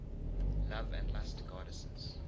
love and lust goddesses